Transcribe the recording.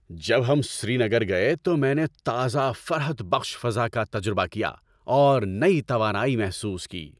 جب ہم سری نگر گئے تو میں نے تازہ فرحت بخش فضا کا تجربہ کیا اور نئی توانائی محسوس کی۔